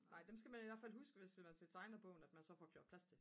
nej dem skal man i hvert fald huske til tegnebogen at man så får gjort plads til dem